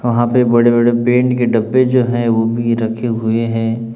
वहां पे बड़े बड़े पेंट के डब्बें जो है वो भी रखे हुए हैं।